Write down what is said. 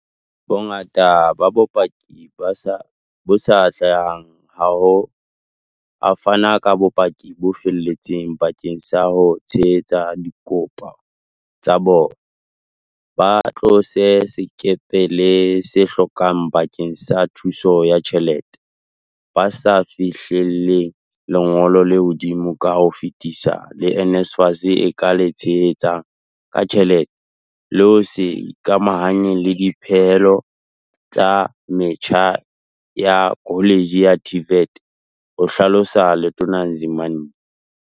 Bongata ba bakopi ba sa atlehang ha bo a fana ka bopaki bo felletseng bakeng sa ho tshehetsa dikopo tsa bona, ba tlotse sekepele se hlokehang bakeng sa thuso ya tjhelete, ba se ba fihlelletse lengolo le hodimo ka ho fetisisa le NSFAS e ka le tshehetsang ka tjhelete le ho se ikamahanye le dipehelo tsa metjha ya koletjhe ya TVET, ho hlalosa Letona Nzimande.